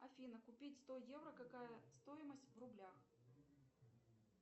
афина купить сто евро какая стоимость в рублях